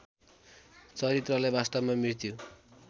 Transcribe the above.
चरित्रलाई वास्तवमा मृत्यु